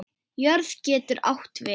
Jörð getur átt við